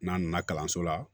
N'an nana kalanso la